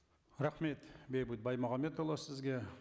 рахмет бейбіт баймағамбетұлы сізге